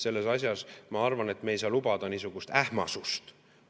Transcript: Selles asjas, ma arvan, me ei saa lubada niisugust ähmasust.